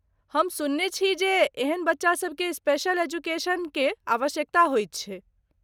हम सुनने छी जे एहन बच्चा सभकेँ स्पेशल एजुकेशन के आवश्यकता होइत छै।